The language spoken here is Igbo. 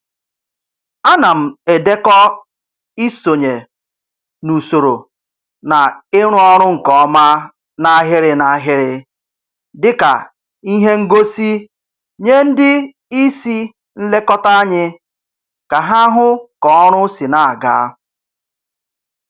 Ana m edekọ isonye n'usoro na ịrụ ọrụ nke ọma n'ahịrị n'ahịrị dịka ihe ngosi nye ndị isi nlekọta anyị ka ha hụ k'ọrụ si na-aga